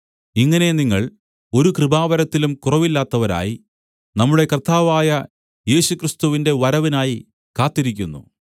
ഇങ്ങനെ നിങ്ങൾ ഒരു കൃപാവരത്തിലും കുറവില്ലാത്തവരായി നമ്മുടെ കർത്താവായ യേശുക്രിസ്തുവിന്റെ വരവിനായി കാത്തിരിക്കുന്നു